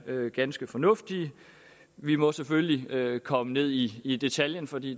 ganske fornuftige vi må selvfølgelig komme ned i i detaljen for det